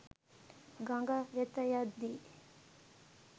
ගඟ වෙත යද්දී